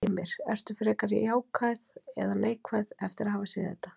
Heimir: Ertu frekar jákvæð en neikvæð eftir að hafa séð þetta?